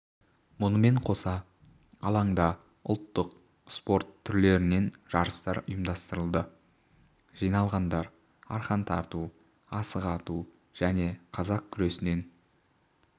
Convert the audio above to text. мұнымен қоса алаңда ұлттық спорт түрлерінен жарыстар ұйымдастырылды жиналғандар арқан тарту асық ату және қазақ күресінен